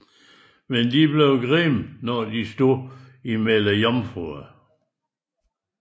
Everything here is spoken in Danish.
Men de blev grimme når de stod blandt jomfruer